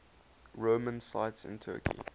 roman sites in turkey